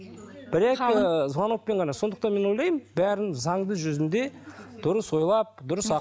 бір екі звонокпен ғана сондықтан мен ойлаймын бәрін заңды жүзінде дұрыс ойлап дұрыс